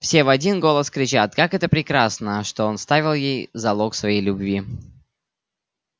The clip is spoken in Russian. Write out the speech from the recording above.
все в один голос кричат как это прекрасно что он оставил ей залог своей любви